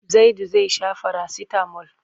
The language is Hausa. Zaidu zai sha farasitamol.